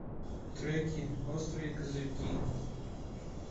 треки острые козырьки